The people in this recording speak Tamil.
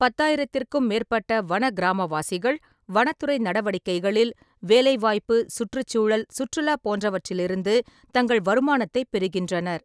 பத்தாயிரத்திற்கும் மேற்பட்ட வன கிராமவாசிகள் வனத்துறை நடவடிக்கைகளில் வேலைவாய்ப்பு, சுற்றுச்சூழல் சுற்றுலா போன்றவற்றிலிருந்து தங்கள் வருமானத்தைப் பெறுகின்றனர்.